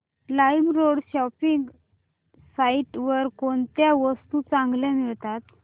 LimeRoad shopping site वर कोणत्या वस्तू चांगल्या मिळतात